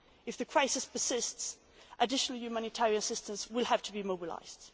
health. If the crisis persists, additional humanitarian assistance will have to be mobilised.